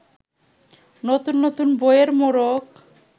নতুন নতুন বইয়ের মোড়ক